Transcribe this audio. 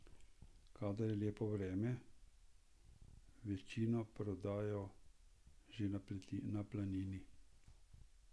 Kadar je lepo vreme, večino prodajo že na planini.